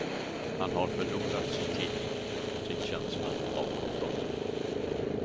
Han har förlorat sin tillit, sin känsla av kontroll.